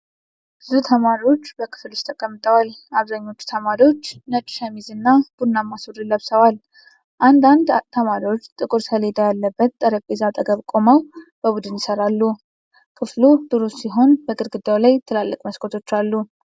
ብዙ ተማሪዎች በክፍል ውስጥ ተቀምጠዋል። አብዛኞቹ ተማሪዎች ነጭ ሸሚዝና ቡናማ ሱሪ ለብሰዋል። አንዳንድ ተማሪዎች ጥቁር ሰሌዳ ያለበት ጠረጴዛ አጠገብ ቆመው በቡድን ይሰራሉ። ክፍሉ ብሩህ ሲሆን በግድግዳው ላይ ትላልቅ መስኮቶች አሉ።